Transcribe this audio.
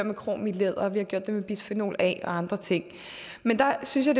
med krom i læder og vi har gjort det med bisfenol a og andre ting men jeg synes